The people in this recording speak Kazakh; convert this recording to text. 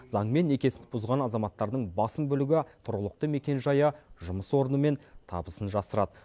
заңмен некесін бұзған азаматтардың басым бөлігі тұрғылықты мекенжайы жұмыс орны мен табысын жасырады